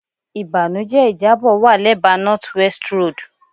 Ibanujẹ ijabọ wa lẹba North West Road